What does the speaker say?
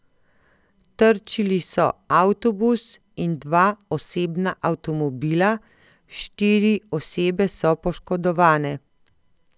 Trčili so avtobus in dva osebna avtomobila, štiri osebe so poškodovane.